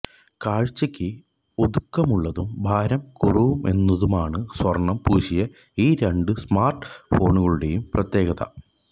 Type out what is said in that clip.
കാഴ്ചക്ക് ഒതുക്കമുള്ളതും ഭാരം കുറവെന്നതുമാണ് സ്വര്ണം പൂശിയ ഈ രണ്ട് സ്മാര്ട് ഫോണുകളുടെയും പ്രത്യേകത